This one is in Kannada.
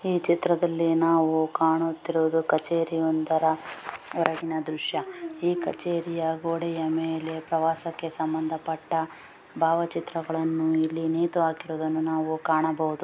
ಈ ಚಿತ್ರದಲ್ಲಿ ನಾವು ಕಾಣುತ್ತಿರುವುದು ಕಛೇರಿ ಒಂದರ ಎರಡನೇ ದ್ರಶ್ಯ ಈ ಕಚೇರಿಯ ಗೋಡೆಯ ಮೇಲೆ ಪ್ರವಾಸಕ್ಕೆ ಸಂಬಂಧ ಪಟ್ಟ ಭಾವಚಿತ್ರಗಳನ್ನು ಇಲ್ಲಿ ನೇತು ಹಾಕಿರುವುದನ್ನು ನಾವು ಕಾಣಬಹುದು.